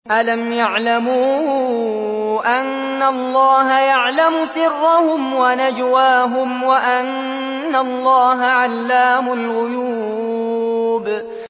أَلَمْ يَعْلَمُوا أَنَّ اللَّهَ يَعْلَمُ سِرَّهُمْ وَنَجْوَاهُمْ وَأَنَّ اللَّهَ عَلَّامُ الْغُيُوبِ